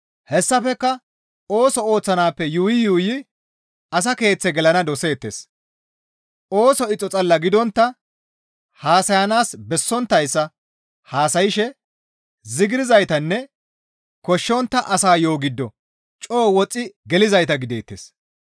Hessafekka ooso ooththanaappe yuuyi yuuyi asa keeththe gelana doseettes; ooso ixo xalla gidontta haasayanaas bessonttayssa haasayshe zigirzaytanne koshshontta asa yo7o giddo coo woxxi gelizayta gideettes.